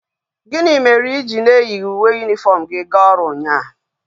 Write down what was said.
Gini mere iji na inyeghi uwe uniform gi ga oru unya?